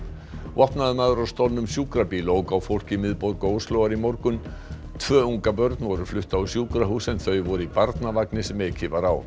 vopnaður maður á stolnum sjúkrabíl ók á fólk í miðborg Óslóar í morgun tvö ungabörn voru flutt á sjúkrahús en þau voru í barnavagni sem ekið var á